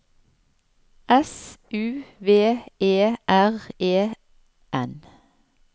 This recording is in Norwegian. S U V E R E N